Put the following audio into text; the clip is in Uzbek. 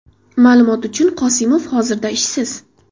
Ma’lumot uchun, Qosimov hozircha ishsiz.